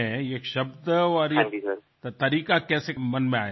এই শব্দ এই পদ্ধতি কিভাবে মাথায় এলো